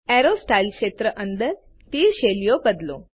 arrow styles ક્ષેત્ર અંદર તીર શૈલીઓ બદલો